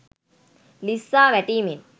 ලිස්සා වැටීමෙන්